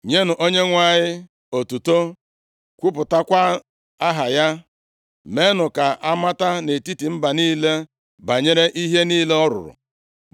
Nyenụ Onyenwe anyị otuto, kwupụtakwa aha ya, meenụ ka amata nʼetiti mba niile banyere ihe niile ọ rụrụ.